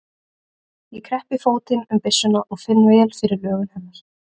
Ég kreppi fótinn um byssuna og finn vel fyrir lögun hennar.